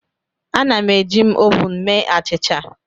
Ana m eji m ovun mee achịcha.